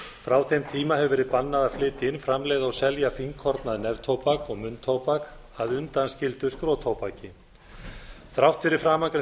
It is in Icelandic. frá þeim tíma hefur verið bannað að flytja inn framleiða og selja fínkornað neftóbak og munntóbak að undanskildu skrotóbaki þrátt fyrir framangreint